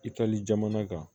Itali jamana kan